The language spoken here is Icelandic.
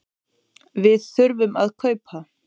Við þurfum að kaupa.